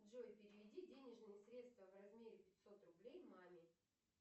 джой переведи денежные средства в размере пятьсот рублей маме